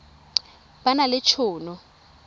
ba na le t hono